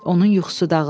Onun yuxusu dağıldı.